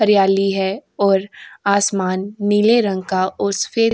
हरियाली है और आसमान नीला रंग का और सफेद --